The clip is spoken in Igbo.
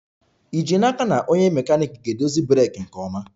Ì ji n'aka na onye mekaniiki ga-edozi breeki nke ọma?